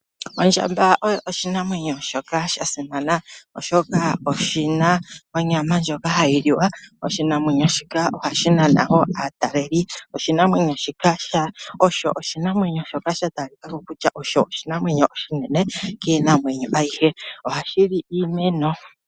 Ondjamba oyo oshinamwenyo shoka shasimana oshoka oshina onyama ndjoka hai liwa . Oshinamwenyo shika ohashi nana wo ataleli. Oshinamwenyo shika osho oshinamwenyo sha talikako kutya oshon oshinamwenyo namwenyo oshinene kiinamwenyo ayihe . Ohashi li iimeno.